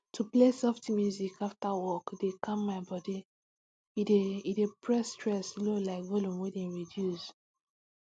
to play soft music after work dey calm my body e dey e dey press stress low like volume wey dem reduce